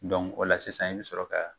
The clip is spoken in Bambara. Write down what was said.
o la sisan i bɛ sɔrɔ ka